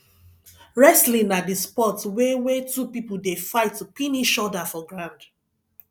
wrestling na di sport wey wey two pipo dey fight to pin eachoda for ground